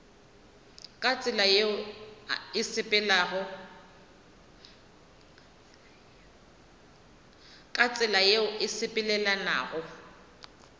ka tsela yeo e sepelelanago